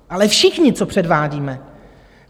Ale všichni, co předvádíme.